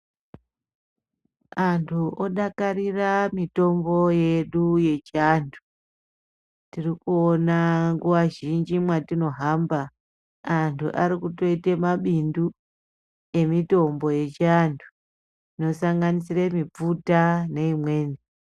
Anthu odakarira mitombo yedu yechianthu, tiri kuona nguwa zhinji mwatinohamba anthu ari kutoite mabindu emitombo yechianthu inosanganisira mipfuta neimweni.